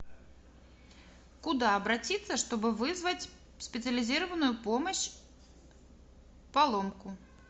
куда обратиться что бы вызвать специализированную помощь поломку